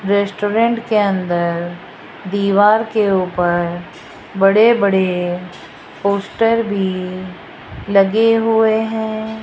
Restaurant के अंदर दीवार के ऊपर बड़े बड़े पोस्टर भी लगे हुए हैं।